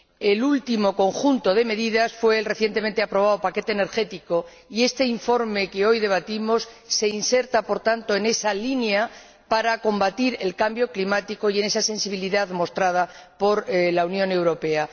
El último conjunto de medidas fue el recientemente aprobado paquete energético y este informe que hoy debatimos se inserta por tanto en esa línea para combatir el cambio climático y en esa sensibilidad mostrada por la Unión Europea.